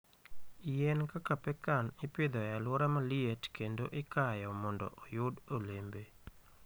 Yien kaka pecan ipidho e alwora ma liet kendo ikayo mondo oyud olembe.